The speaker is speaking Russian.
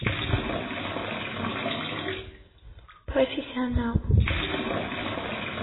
профессионал